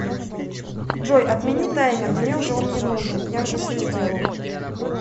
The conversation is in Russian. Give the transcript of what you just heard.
джой отмени таймер мне уже он не нужен я уже все сделал